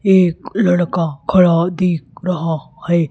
ये एक लड़का खड़ा दिख रहा है।